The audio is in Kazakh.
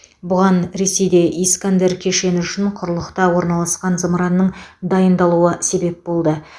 бұған ресейде искандер кешені үшін құрлықта орналасқан зымыранның дайындалуы себеп болды